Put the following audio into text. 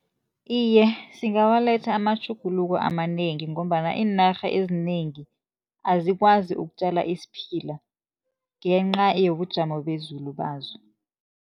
Iye, singawaletha amatjhuguluko amanengi, ngombana iinarha ezinengi azikwazi ukutjala isiphila ngenca yobujamo bezulu bazo.